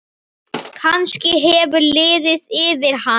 Kannski hefur liðið yfir hana?